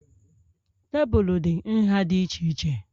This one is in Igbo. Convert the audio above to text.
Tebụl dị nha dị iche iche